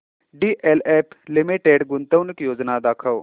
DLF limited गुंतवणूक योजना दाखव